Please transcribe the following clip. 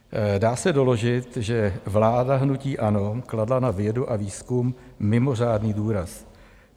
Dá se doložit, že vláda hnutí ANO kladla na vědu a výzkum mimořádný důraz.